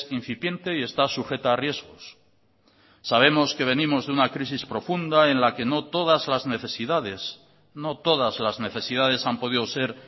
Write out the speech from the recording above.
incipiente y está sujeta a riesgos sabemos que venimos de una crisis profunda en la que no todas las necesidades no todas las necesidades han podido ser